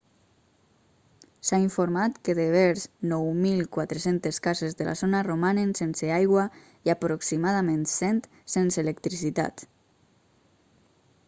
s'ha informat que devers 9.400 cases de la zona romanen sense aigua i aproximadament 100 sense electricitat